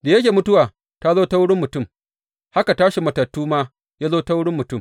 Da yake mutuwa ta zo ta wurin mutum, haka tashin matattu ma ya zo ta wurin mutum.